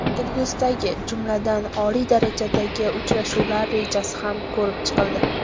Kelgusidagi, jumladan, oliy darajadagi uchrashuvlar rejasi ham ko‘rib chiqildi.